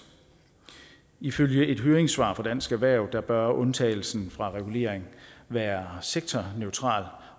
ifølge et høringssvar fra dansk erhverv bør undtagelsen fra regulering være sektorneutral